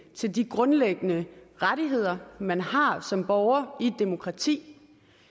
til de grundlæggende rettigheder man har som borger i et demokrati